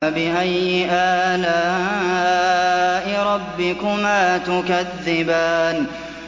فَبِأَيِّ آلَاءِ رَبِّكُمَا تُكَذِّبَانِ